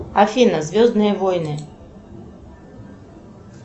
афина звездные войны